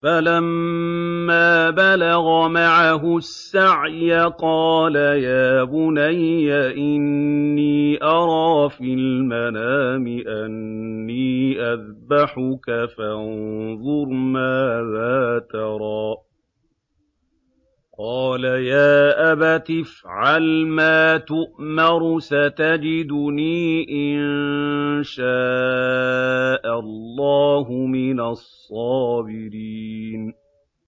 فَلَمَّا بَلَغَ مَعَهُ السَّعْيَ قَالَ يَا بُنَيَّ إِنِّي أَرَىٰ فِي الْمَنَامِ أَنِّي أَذْبَحُكَ فَانظُرْ مَاذَا تَرَىٰ ۚ قَالَ يَا أَبَتِ افْعَلْ مَا تُؤْمَرُ ۖ سَتَجِدُنِي إِن شَاءَ اللَّهُ مِنَ الصَّابِرِينَ